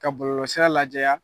Ka bɔlɔlɔsira lajɛya.